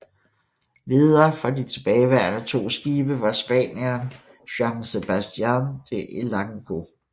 Ledere for de tilbageværende to skibe var spanieren Juan Sebastián de Elcano